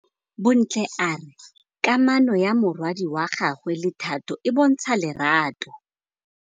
Bontle a re kamanô ya morwadi wa gagwe le Thato e bontsha lerato.